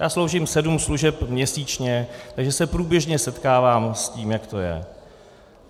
Já sloužím sedm služeb měsíčně, takže se průběžně setkávám s tím, jak to je.